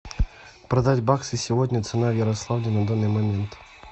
продать баксы сегодня цена в ярославле на данный момент